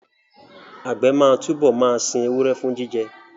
Àgbẹ̀ máa túbọ̀ máa sin ewúrẹ́ fún jíjẹ